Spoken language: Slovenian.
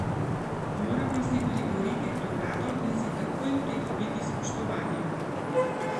Moramo si priboriti prevlado in si takoj pridobiti spoštovanje.